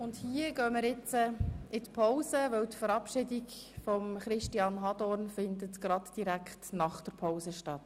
() Wir gehen jetzt in die Pause, und die Verabschiedung von Christian Hadorn findet gleich anschliessend an die Pause statt.